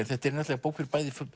þetta er bók fyrir bæði